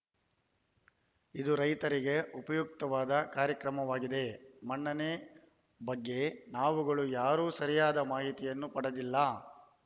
ಇದು ರೈತರಿಗೆ ಉಪಯುಕ್ತವಾದ ಕಾರ್ಯಕ್ರಮವಾಗಿದೆ ಮಣ್ಣಿನ ಬಗ್ಗೆ ನಾವುಗಳು ಯಾರೂ ಸರಿಯಾದ ಮಾಹಿತಿಯನ್ನು ಪಡೆದಿಲ್ಲ